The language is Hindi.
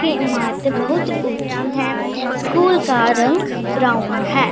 की इमारतें बहुत ऊंची है स्कूल का रंग ब्राउन है।